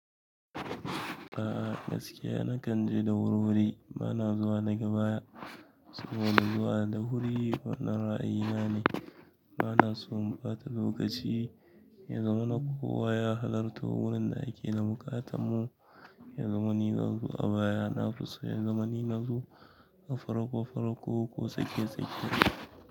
A'a gaskiya nakan je da wuri-wuri, bana zuwa na gaba, suna zuwa da wuri, wannan ra'ayi nane. Bana so in ɓata lokaci, ya zamana kowa ya halarta wurin da ake da bukatamu, ya zama ni zanzo a baya na fuso, ya zama ni nazo a faro ba faro ko tsakiya tsakiya.